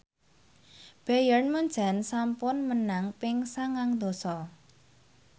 Bayern Munchen sampun menang ping sangang dasa